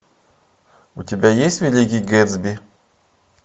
у тебя есть великий гэтсби